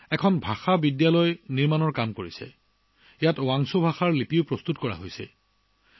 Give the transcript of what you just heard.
তেওঁ ভাষা বিদ্যালয় নিৰ্মাণৰ কাম কৰিছিল যাৰ ফলত ৱাংছু ভাষাৰ লিপিৰ সৃষ্টি হৈছিল